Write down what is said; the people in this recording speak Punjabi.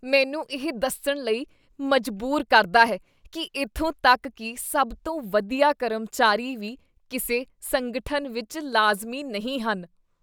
ਮੈਨੂੰ ਇਹ ਦੱਸਣ ਲਈ ਮਜ਼ਬੂਰ ਕਰਦਾ ਹੈ ਕੀ ਇੱਥੋਂ ਤੱਕ ਕੀ ਸਭ ਤੋਂ ਵਧੀਆ ਕਰਮਚਾਰੀ ਵੀ ਕਿਸੇ ਸੰਗਠਨ ਵਿੱਚ ਲਾਜ਼ਮੀ ਨਹੀਂ ਹਨ।